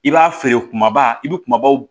I b'a feere kumaba i bɛ kumabaw